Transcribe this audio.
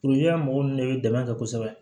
mɔgɔ ninnu de bɛ dɛmɛ kɛ kosɛbɛ